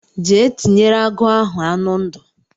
Jee tinyere agụ ahụ anụ ndụ.